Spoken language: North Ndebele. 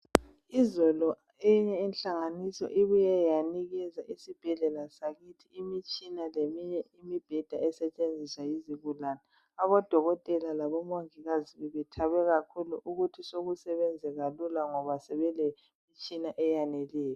Izolo eyinye inhlanganiso ibuye yanikeza isibhedlela sakithi imitshina leminye imibheda esetshenziswa yizigulane. Abodokotela labo mongikazi bebethabe kakhulu ukuthi sokusebenzeka lula ngoba sebelemtshina eyaneleyo.